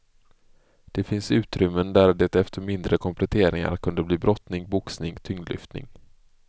Det finns utrymmen där det efter mindre kompletteringar kunde bli brottning, boxning, tyngdlyftning.